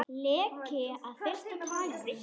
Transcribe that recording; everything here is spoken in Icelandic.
Leki af versta tagi